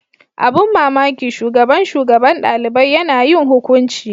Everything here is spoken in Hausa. Abin mamaki shugaban shugaban dalibai Yana yin hukunci.